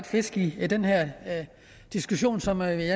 fisk i den her diskussion som jeg i